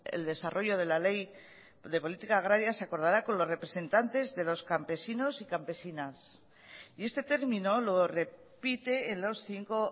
el desarrollo de la ley de política agraria se acordará con los representantes de los campesinos y campesinas y este término lo repite en los cinco